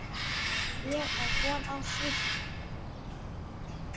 Ég á von á því.